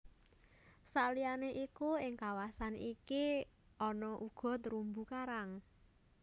Saliyané iku ing kawasan iki ana uga terumbu karang